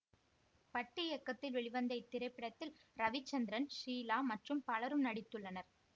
பட்டு இயக்கத்தில் வெளிவந்த இத்திரைப்படத்தில் ரவிசந்திரன் ஷீலா மற்றும் பலரும் நடித்துள்ளனர்